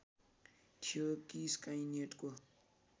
थियो कि स्काइनेटको